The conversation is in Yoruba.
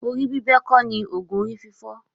Decapitation is not the antedote for headache.